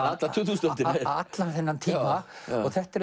alla tuttugustu öldina allan þennan tíma og þetta er